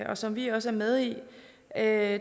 og som vi også er med i er